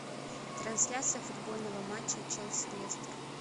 трансляция футбольного матча челси лестер